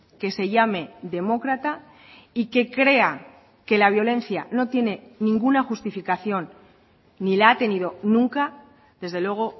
que se llame demócrata y que crea que la violencia no tiene ninguna justificación ni la ha tenido nunca desde luego